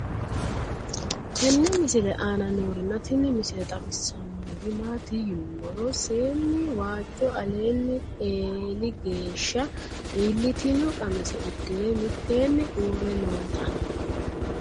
tenne misile aana noorina tini misile xawissannori maati yinummoro seenni waajjo alinni eeli geeshsha iilittinno qamise uddire mittenni uure nootta